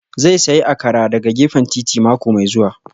Zai sayi Akara daga gefen titi mako mai zuwa